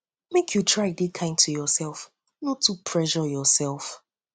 make you try dey kind to youself no too yourself no too pressure yourself